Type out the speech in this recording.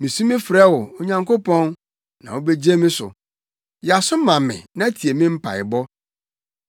Misu mefrɛ wo, Onyankopɔn na wubegye me so; yɛ aso ma me na tie me mpaebɔ.